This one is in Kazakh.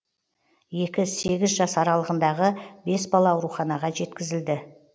екі сегіз жас аралығындағы бес бала ауруханаға жеткізілді